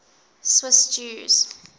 swiss jews